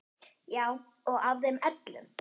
Já og af þeim öllum.